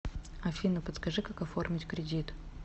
афина подскажи как оформить кредит